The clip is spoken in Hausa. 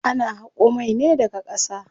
Ana haƙo mai ne daga ƙasa.